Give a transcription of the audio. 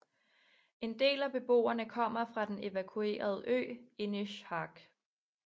En del af beboerne kommer fra den evakuerede ø Inishark